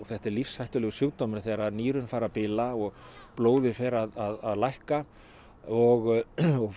þetta er lífshættulegur sjúkdómur þegar nýrun fara að bila og blóðið fer að lækka og